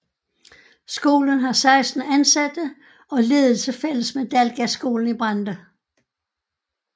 Skolen har 16 ansatte og ledelse fælles med Dalgasskolen i Brande